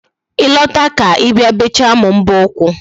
Ị lọta ka Ị bịa bechaa m mbọ ụkwụ